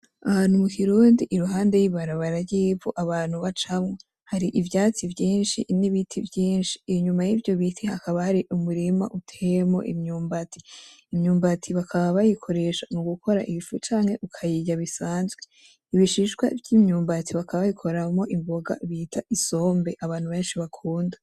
Ahantu mu kirundi iruhande y'ibarabara ry'ivu abantu bacamwo. Hari ivyatsi vyinshi n'ibiti vyinshi. Inyuma y'ivyo biti hakaba hari umurima uteyemwo imyumbati. Imyumbati bakaba bayikoresha mu gukora ifu canke ukayirya bisanzwe. Ibishishwa vy'imyumbati bakaba babikoramwo imboga bita isombe abantu benshi bakunda.